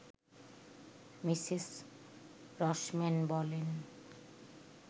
Mrs Rossmann বলেন